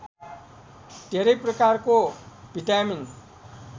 धेरै प्रकारको भिटामिन